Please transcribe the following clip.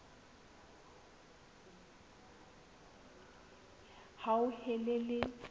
hauhelele